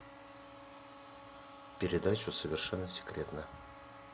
передачу совершенно секретно